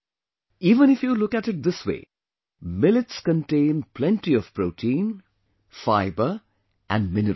Even if you look at it this way, millets contain plenty of protein, fiber, and minerals